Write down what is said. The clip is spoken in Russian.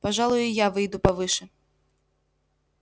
пожалуй и я выйду повыше